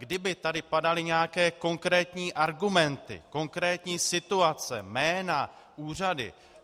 Kdyby tady padaly nějaké konkrétní argumenty, konkrétní situace, jména, úřady.